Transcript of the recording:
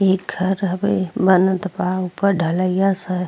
इ घर हवे बनत बा ऊपर ढलिया सब --